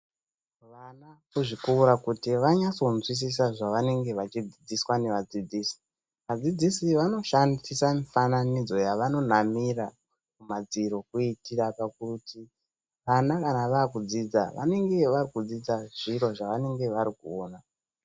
Vana kuzvikora kuti vanyatsonzwisisa zvavanenge vachidzidziswa nevadzidzisi. Vadzidzisi vanoshandisa mifananidzo yavanonamira kumadziro kuitira kuti vana kana vakudzidza vanenge varudzidza zviro zvavari kuona.